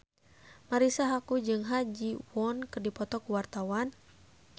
Marisa Haque jeung Ha Ji Won keur dipoto ku wartawan